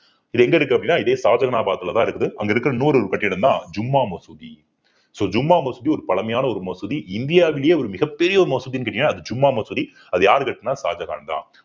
இது எங்க இருக்கு அப்படின்னா இருக்குது அங்க இருக்கற நூறு கட்டிடம்தான் ஜும்மா மசூதி so ஜும்மா மசூதி ஒரு பழமையான ஒரு மசூதி இந்தியாவிலேயே ஒரு மிகப் பெரிய ஒரு மசூதின்னு கேட்டீங்கன்னா அது ஜும்மா மசூதி அது யாரு கட்டினா ஷாஜகான்தான்